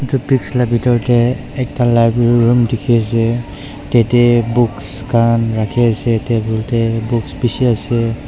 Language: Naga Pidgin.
etu pics laga bethro te ekta library room dekhi ase tarte book khan rakhi ase tar room te books bisi ase.